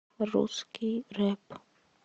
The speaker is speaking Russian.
русский рэп